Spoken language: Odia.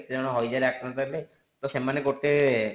କେଇ ଜଣ ହାଇଜରେ ଆକ୍ରାନ୍ତ ହେଲେ ତ ସେମାନେ ଗୋଟେ